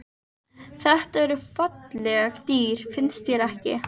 Þetta eru falleg dýr, finnst þér ekki?